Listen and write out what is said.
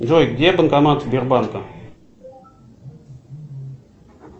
джой где банкомат сбербанка